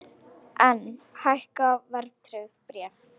Enn hækka verðtryggð bréf